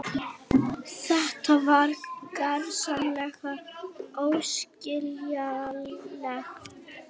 Þetta var gersamlega óskiljanlegt.